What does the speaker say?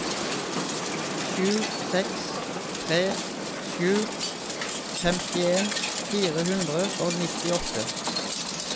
sju seks tre sju femtien fire hundre og nittiåtte